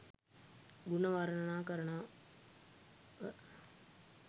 ගුණ වර්ණනා කරනව